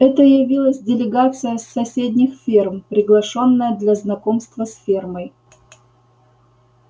это явилась делегация с соседних ферм приглашённая для знакомства с фермой